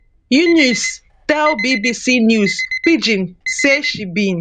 yunus tell bbc news pidgin say she bin